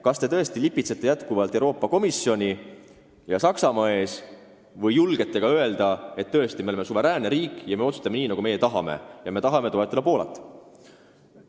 Kas te tõesti lipitsete jätkuvalt Euroopa Komisjoni ja Saksamaa ees või julgete öelda, et me oleme suveräänne riik ja me otsustame nii, nagu me tahame, ja me tahame toetada Poolat?